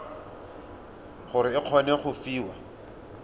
gore o kgone go fiwa